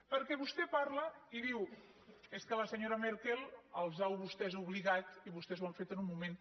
perquè vostè parla i diu és que la senyora merkel els ha a vostès obligat i vostès ho han fet en un moment